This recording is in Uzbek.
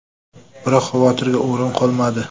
Biroq xavotirga o‘rin qolmadi.